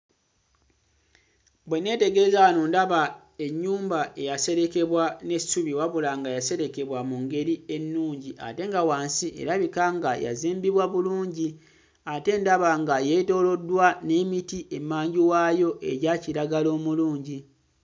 Bwe nneetegereza wano ndaba ennyumba eyaserekebwa n'essubi, wabula nga yaserekebwa mu ngeri ennungi ate nga wansi erabika nga yazimbibwa bulungi ate ndaba nga yeetooloddwa n'emiti emmanju waayo egya kiragala omulungi.